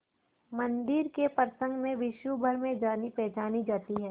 मंदिर के प्रसंग में विश्वभर में जानीपहचानी जाती है